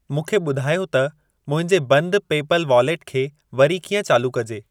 मूंखे ॿुधायो त मुंहिंजे बंद पे पल वॉलेट खे वरी कीअं चालू कजे।